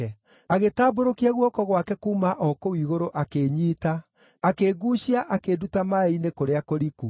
“Agĩtambũrũkia guoko gwake kuuma o kũu igũrũ akĩnyiita; akĩnguucia akĩnduta maaĩ-inĩ kũrĩa kũriku.